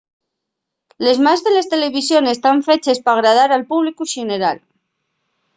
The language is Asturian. les más de les televisiones tán feches p’agradar al públicu xeneral